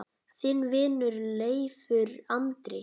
Þinn vinur, Leifur Andri.